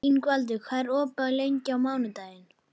Ingvaldur, hvað er opið lengi á mánudaginn?